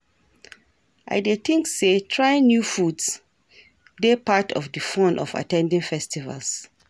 i dey think say trying new foods dey part of di fun of at ten ding festivals.